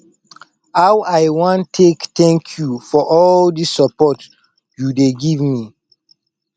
how i wan take thank you for all dis support you dey give me